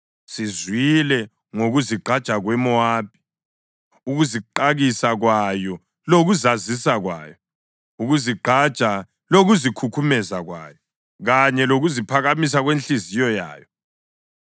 Sizwile ngokuzigqaja kweMowabi, ukuziqakisa kwayo lokuzazisa kwayo! Ukuzigqaja lokuzikhukhumeza kwayo, kanye lokuziphakamisa kwenhliziyo yayo.